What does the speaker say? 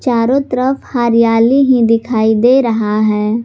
चारों तरफ हरियाली ही दिखाई दे रहा है।